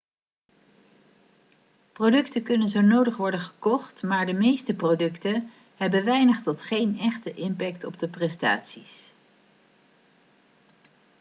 producten kunnen zo nodig worden gekocht maar de meeste producten hebben weinig tot geen echte impact op de prestaties